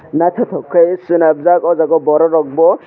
naitotok ke selamjak o jaga borok rok bo.